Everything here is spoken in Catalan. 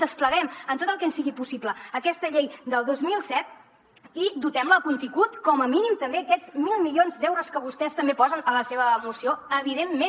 despleguem en tot el que ens sigui possible aquesta llei del dos mil set i dotem la de contingut com a mínim també aquests mil milions d’euros que vostès també posen a la seva moció evidentment